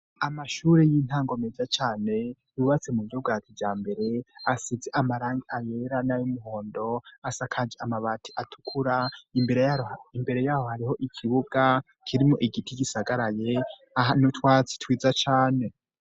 Amashuri y'intango meza cane yubatse mu buryo bwa kijambere asize amarangi ayera nay' umuhondo asakaje amabati atukura ; imbere yaho hariho ikibuga kirimwo igiti gisagaraye ahari n'utwatsi twiza cane.